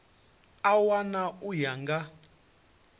a wana u ya nga